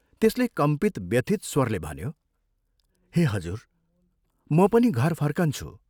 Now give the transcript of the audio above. त्यसले कम्पित व्यथित स्वरले भन्यो, "हे हजुर, म पनि घर फर्कन्छु।